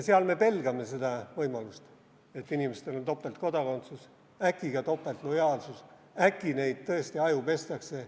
Seal me pelgame võimalust, et inimestel on topeltkodakondsus, äkki ka topeltlojaalsus, äkki neid tõesti ajupestakse.